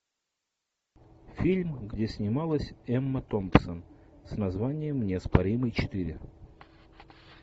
фильм где снималась эмма томпсон с названием неоспоримый четыре